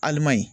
Aliman ye